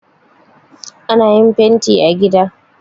Ana yin fanti a gida